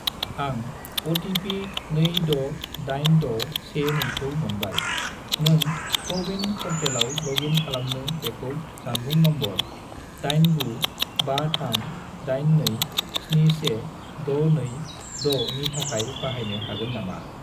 आं अ.टि.पि. 268612 खौ मोनबाय, नों क'-विन पर्टेलाव लग इन खालामनो बेखौ जानबुं नम्बर 89538271626 नि थाखाय बाहायनो हागोन नामा?